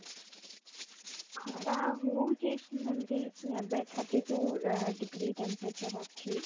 ଖରା ହଉଚି ଏମିତି ଏବେ thirty two degree ଆଁ temperature ଅଛି